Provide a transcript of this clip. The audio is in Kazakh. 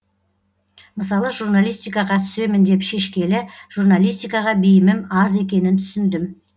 мысалы журналистикаға түсемін деп шешкелі журналистикаға бейімім аз екенін түсіндім